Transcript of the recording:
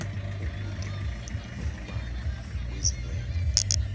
ubude umbala wezinwele